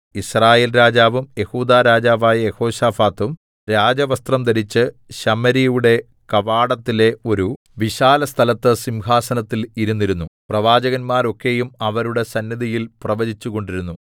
യിസ്രായേൽ രാജാവും യെഹൂദാ രാജാവായ യെഹോശാഫാത്തും രാജവസ്ത്രം ധരിച്ച് ശമര്യയുടെ കവാടത്തിലെ ഒരു വിശാലസ്ഥലത്ത് സിംഹാസനത്തിൽ ഇരുന്നിരുന്നു പ്രവാചകന്മാർ ഒക്കെയും അവരുടെ സന്നിധിയിൽ പ്രവചിച്ചുകൊണ്ടിരുന്നു